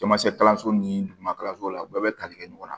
Jamacɛ kalanso ni duguma so la u bɛɛ bɛ tali kɛ ɲɔgɔn na